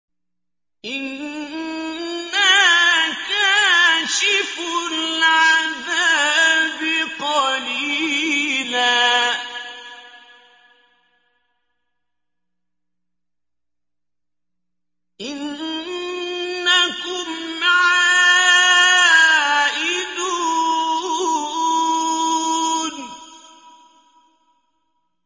إِنَّا كَاشِفُو الْعَذَابِ قَلِيلًا ۚ إِنَّكُمْ عَائِدُونَ